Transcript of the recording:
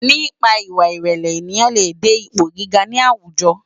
Nipá iwá irèlè éniyán lé dé ipó gigá ni áwújò